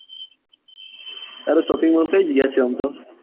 તારો shopping mall કઈ જગ્યા છે આમ તો.